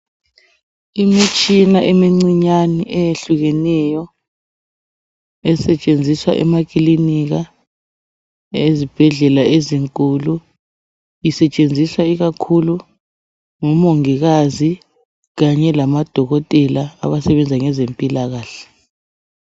Imitshina emincinyane eyehlukeneyo esetshenziswa emakilinika ezibhendlela ezinkulu isetshenziswa ikakhulu ngumongikazi kanye lamadokotela abasebenza ngezempilakahle.